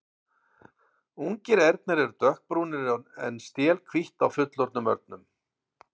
ungir ernir eru dökkbrúnir en stél hvítt á fullorðnum örnum